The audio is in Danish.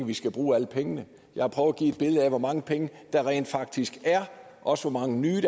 vi skal bruge alle pengene jeg har prøvet at give et billede af hvor mange penge der rent faktisk er og også hvor mange nye